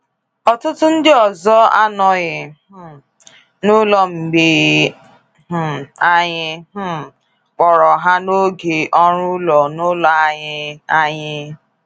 Ọtụtụ ndị ọzọ anọghị um n'ụlọ mgbe um anyị um kpọrọ ha n'oge ọrụ ụlọ-n'ụlọ anyị. anyị.